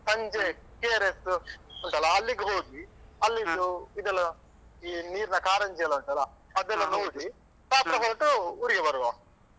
ಸಂಜೆ KRS ಉಂಟಲ ಅಲ್ಲಿಗೆ ಹೋಗಿ ಅಲ್ಲಿದ್ದು ಇದೆಲ್ಲ ಈ ನೀರಿನ ಕಾರಂಜಿಯೆಲ್ಲ ಉಂಟಲ್ಲ ಅದೆಲ್ಲ ನೋಡಿ ರಾತ್ರಿ ಹೊರಟು ಊರಿಗೆ ಬರುವ.